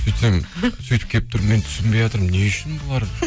сөйтсем сөйтіп келіп тұр мен түсінбеятырмын не үшін бұлар